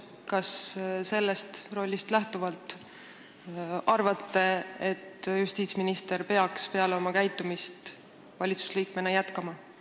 Kas sellest rollist lähtuvalt arvate, et justiitsminister peaks peale oma sellist käitumist valitsusliikmena jätkama?